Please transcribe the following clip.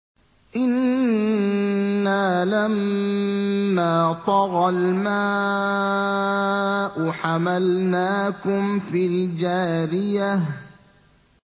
إِنَّا لَمَّا طَغَى الْمَاءُ حَمَلْنَاكُمْ فِي الْجَارِيَةِ